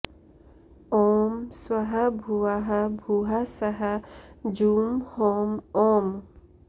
ॐ स्वः भुवः भूः सः जूं हौं ओम्